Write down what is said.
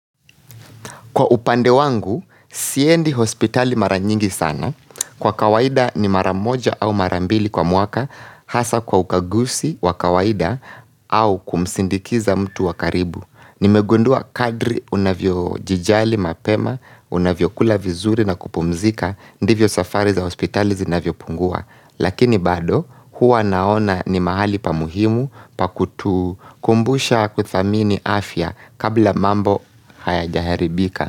Kwa upande wangu, siendi hospitali mara nyingi sana, kwa kawaida ni mara moja au mara mbili kwa mwaka, hasa kwa ukaguzi wa kawaida au kumsindikiza mtu wa karibu. Nimegundua kadri unavyojijali mapema, unavyokula vizuri na kupumzika, ndivyo safari za hospitali zinavyopungua. Lakini bado huwa naona ni mahali pa muhimu pa kutukumbusha kudhamini afya kabla mambo hayajaharibika.